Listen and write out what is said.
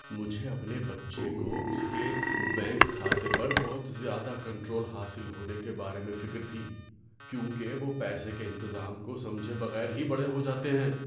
مجھے اپنے بچے کو اس کے بینک کھاتے پر بہت زیادہ کنٹرول حاصل ہونے کے بارے میں فکر تھی کیونکہ وہ پیسے کے انتظام کو سمجھے بغیر ہی بڑے ہو جاتے ہیں۔